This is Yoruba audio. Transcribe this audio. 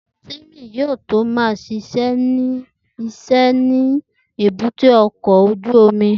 Timi yóò tó ma ṣiṣẹ́ ní ṣíṣe ni èbúté ọkọ̀ ojú omi